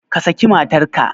Ka saki matarka!